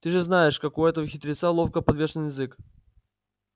ты же знаешь как у этого хитреца ловко подвешен язык